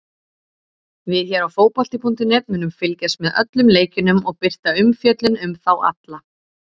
Við hér á fótbolti.net munum fylgjast með öllum leikjunum og birta umfjöllun um þá alla.